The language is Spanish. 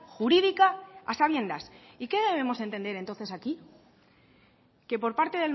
jurídica a sabiendas y qué debemos entender entonces aquí que por parte